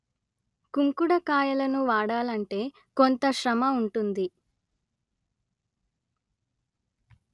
కుంకుడుకాయలను వాడాలంటే కొంత శ్రమ ఉంటుంది